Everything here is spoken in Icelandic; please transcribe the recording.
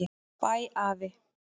Bæ afi.